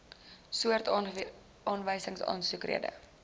soort aanwysingsaansoek rede